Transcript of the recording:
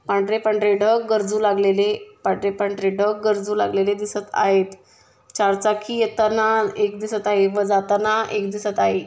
पांढरे-पांढरे ढग गरजू लागलेले पांढरे-पांढरे ढग गरजू लागलेले दिसत आहेत चार चाखी येताना एक दिसत आहे व जाताना एक दिसत आहे.